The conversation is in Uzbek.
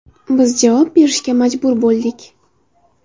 Biz javob berishga majbur bo‘ldik.